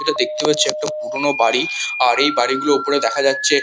এটা দেখতে পাচ্ছি একটা পুরোনো বাড়ি আর এই বাড়িগুলোর ওপরে দেখা যাচ্ছে--